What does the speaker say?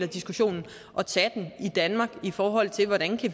diskussionen i danmark i forhold til hvordan